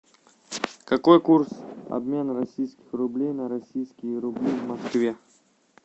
какой курс обмена российских рублей на российские рубли в москве